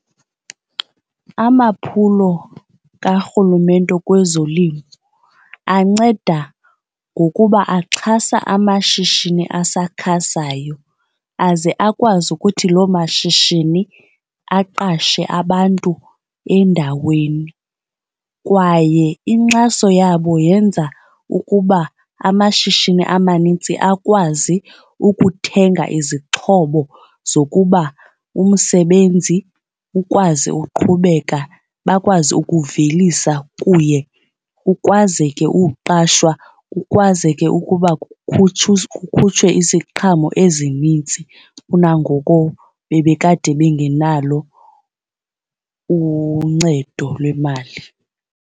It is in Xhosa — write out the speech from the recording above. Amaphulo kaRhulumente kwezolimo anceda ngokuba axhasa amashishini asakhasayo aze akwazi ukuthi loo mashishini aqashe abantu endaweni. Kwaye inkxaso yabo yenza ukuba amashishini amanintsi akwazi ukuthenga izixhobo zokuba umsebenzi ukwazi uqhubeka bakwazi ukuvelisa kuye kukwazeke ukuqashwa kukwazeke ukuba kukhutshwe kukhutshwe iziqhamo ezinintsi kunangoko bebekade bengenalo uncedo lwemali.